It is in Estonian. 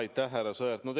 Aitäh, härra Sõerd!